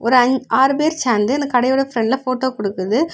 ஒரு அ ஆறு பேர் சேர்ந்து இந்த கடையோட பிரண்ட்ல போட்டோ குடுக்குது.